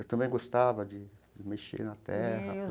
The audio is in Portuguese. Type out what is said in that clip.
Eu também gostava de mexer na terra, plantar.